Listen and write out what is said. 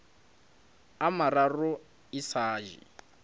a mararo e sa je